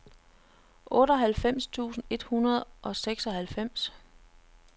otteoghalvfems tusind et hundrede og seksoghalvfems